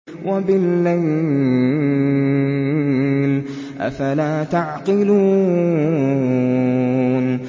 وَبِاللَّيْلِ ۗ أَفَلَا تَعْقِلُونَ